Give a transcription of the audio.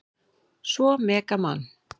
Svo mega Man.